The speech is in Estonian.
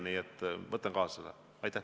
Nii et võtan selle kaasa.